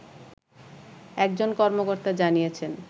একজন কর্মকর্তা জানিয়েছেন